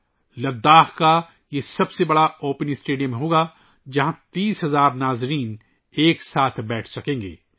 یہ لداخ کا سب سے بڑا اوپن اسٹیڈیم ہوگا ، جہاں 30,000 شائقین ایک ساتھ بیٹھ سکتے ہیں